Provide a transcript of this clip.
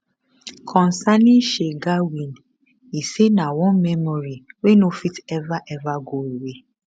concerning shergar win e say na one memory wey no fit ever ever go away